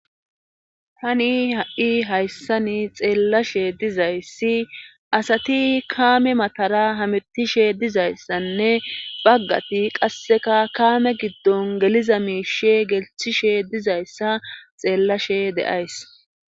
Tani ha7i hayssan xeelashe dizayssi aasati kaame matara hameettishe dizayssanne baggati qasseka kaame giddon geliza miishe gelssishe dizayssa xeelshe de7ays.